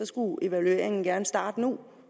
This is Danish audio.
skulle evalueringen gerne starte nu